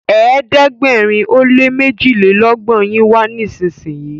ẹ̀ẹ́dẹ̀gbẹ̀rin o lẹ ní mejilelogbon yin wá nísìsiyìí!